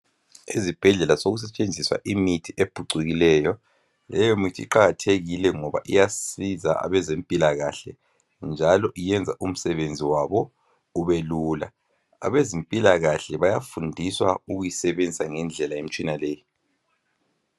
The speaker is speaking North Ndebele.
Ezibhedlela sokusetshenziswa imithi ephucukileyo. Leyo mithi iqakathekile ngoba iyasiza abezempilakahle njalo iyenza umsebenzi wabo ubelula. Abezempilakahle bayafundiswa ukuyisebenzisa ngendlela imitshina leyi.